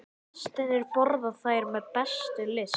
Gestirnir borða þær með bestu lyst.